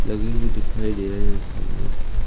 लगे हुए दिखाई दे रहे हैं सामने की--